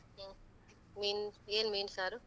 ಹು, ಮೀನ್, ಏನ್ ಮೀನ್ ಸಾರು?